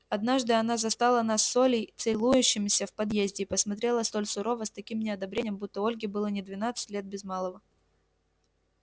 однажды она застала нас с олей целующимися в подъезде и посмотрела столь сурово с таким неодобрением будто ольге было не двадцать лет без малого